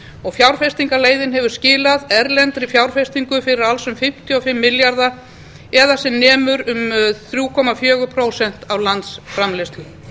og fjárfestingarleiðin hefur skilað erlendri fjárfestingu fyrir alls um fimmtíu og fimm milljarða það er sem nemur um þrjú komma fjögur prósent af landsframleiðslu